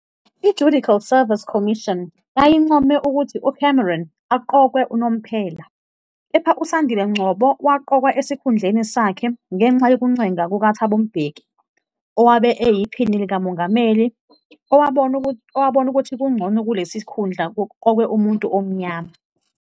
I-Judicial Service Commission yayincome ukuthi uCameron aqokwe unomphela, kepha uSandile Ngcobo waqokwa esikhundleni sakhe ngenxa yokuncenga kukaThabo Mbeki, owabe eyiPhini likaMongameli, owabona ukuthi kungcono kulesi sikhundla kuqokwe umuntu omnyama.